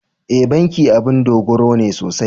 E, bankin abun dogaro ne sosai.